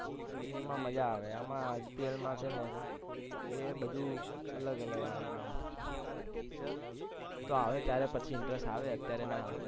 એમાં મજા આવે આમા IPL માં છે ને એ બધુ અલગ અલગ આવે એકદમ તો આવે ત્યારે પછી interest આવે અત્યારે ના આવે